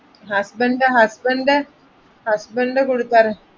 husband ന്റെ husband ന്റെ husband ന്റെ കൊടുത്താരു~